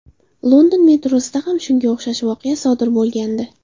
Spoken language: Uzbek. London metrosida ham shunga o‘xshash voqea bo‘lgandi”.